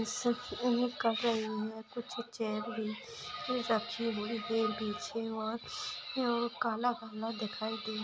इस इमेज खाफी लम्बा कुछ चेर कुछ रखी हुयी है पीछे और काला-काला दिखाय दे--